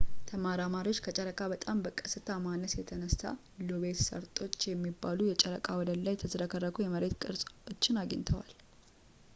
ተመራማሪዎች ከጨረቃ በጣም በቀስታ ማነስ የተነሱ ሎቤት ሰርጦች የሚባሉ የጨረቃ ወለል ላይ የተዝረከረኩ የመሬት ቅርፆችን አግኝተዋል